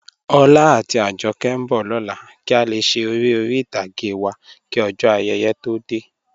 Ọlá àti Àjọ̀kẹ̀ nbọ̀ lọlá kí a lè ṣè èrè orí itàgé wa kí ojó ayéyé tó dẹ̀.